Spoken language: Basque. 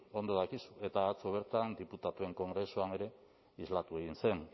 ondo dakizu eta atzo bertan diputatuen kongresuan ere islatu egin zen